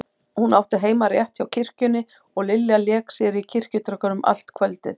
Hún átti heima rétt hjá kirkjunni og Lilla lék sér í kirkjutröppunum allt kvöldið.